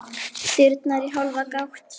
Dyrnar í hálfa gátt.